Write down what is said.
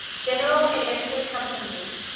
general electric company